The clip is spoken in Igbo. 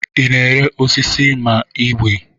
Ị na-ere osisi ma ọ igwei?